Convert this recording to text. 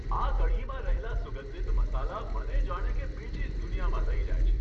આ કઢીમાં રહેલા સુગંધિત મસાલા મને જાણે કે બીજી જ દુનિયામાં લઈ જાય છે.